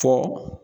Fɔ